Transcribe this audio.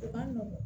U ka nɔgɔn